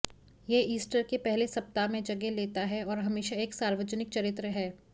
यह ईस्टर के पहले सप्ताह में जगह लेता है और हमेशा एक सार्वजनिक चरित्र है